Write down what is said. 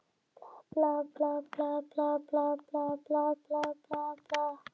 Það leynir sér ekki að hún hefur mikinn áhuga á honum.